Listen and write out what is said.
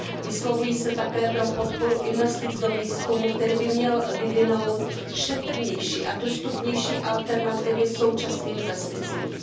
Vyslovuji se také pro podporu investic do výzkumu, který by měl vyvinout šetrnější a dostupnější alternativy k současným pesticidům.